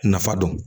Nafa dɔn